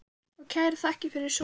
Og kærar þakkir fyrir son ykkar.